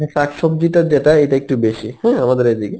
মানে শাক সব্জিটা যেটা এইকটু বেশি হ্যাঁ আমাদের এইদিকে.